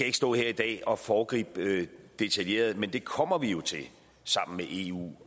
ikke stå her i dag og foregribe detaljeret men det kommer vi jo til sammen med eu